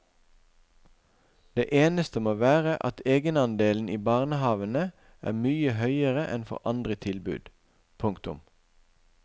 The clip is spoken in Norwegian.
Det eneste må være at egenandelen i barnehavene er mye høyere enn for andre tilbud. punktum